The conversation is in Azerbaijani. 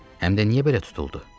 Həm də niyə belə tutuldu?